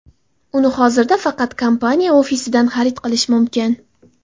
Uni hozirda faqat kompaniya ofisidan xarid qilish mumkin.